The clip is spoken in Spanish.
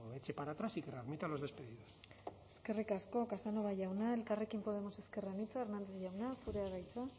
eche para atrás y que readmita a los despedidos eskerrik asko casanova jauna elkarrekin podemos ezker anitza hernández jauna zurea da hitza